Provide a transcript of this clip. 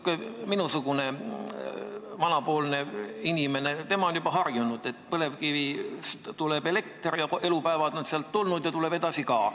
Vaat minusugune vanapoolne inimene, tema on juba harjunud, et põlevkivist tuleb elekter ja elupäevad on sealt tulnud ja tuleb edasi ka.